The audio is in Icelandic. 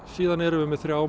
síðan erum við með þrjá